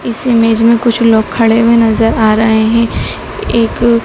इस इमेज में कुछ लोग खड़े हुए नजर आ रहे हैं एक--